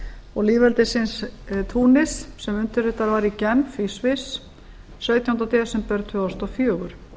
og lýðveldisins túnis sem undirritað var í genf í sviss sautjánda desember tvö þúsund og fjögur